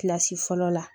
Kilasi fɔlɔ la